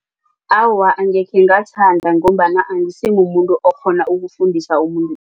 Awa, angekhe ngathanda ngombana angisimumuntu okghona ukufundisa umuntu.